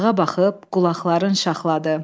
Dağa baxıb qulağın şaxladı.